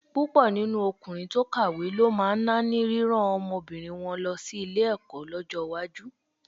Púpọ̀ nínú ọkùnrin tó kàwé ló máa náání rírán ọmọbìnrin wọn lọ sí ilé-ẹ̀kọ́ lọ́jọ́ iwájú.